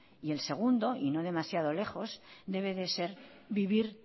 y el segundo y no demasiado lejos debe de ser vivir